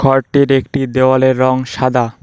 ঘরটির একটি দেয়ালের রং সাদা।